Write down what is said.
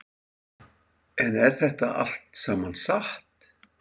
En er þetta allt saman satt?